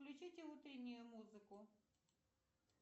включите утреннюю музыку